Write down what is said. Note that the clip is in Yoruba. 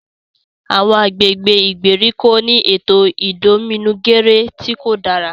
Awọn agbègbè ìgbèríko ni ètò idominugere ti kò dára